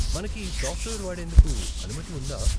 మనకి ఈ సాఫ్ట్వేర్ వాడేందుకు అనుమతి ఉందా?